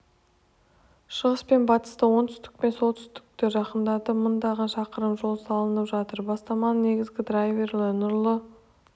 шығыс пен батысты оңтүстік пен солтүстікті жақындатып мыңдаған шақырым жол салынып жатыр бастаманың негізгі драйвері нұрлы